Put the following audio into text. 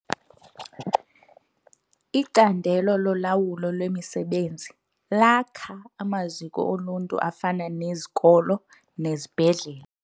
Icandelo lolawulo lwemisebenzi lakha amaziko oluntu afana nezikolo nezibhedlele.